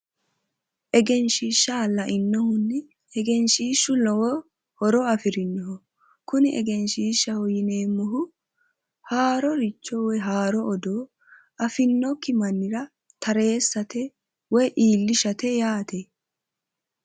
Egeshshiishsha lainohunni egenshshiishshu lowo horo afirino kuni egenshshiishshaho yineemmohu haaro odoo afinnokki Mannira iillishshate woy tareessate yaate